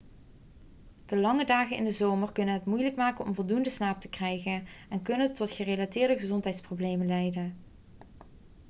de lange dagen in de zomer kunnen het moeilijk maken om voldoende slaap te krijgen en kunnen tot gerelateerde gezondheidsproblemen leidden